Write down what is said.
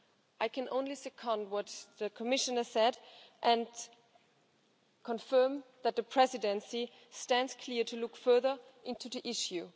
I can only second what the Commissioner said and confirm that the Presidency stands ready to look further into the issue.